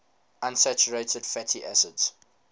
unsaturated fatty acids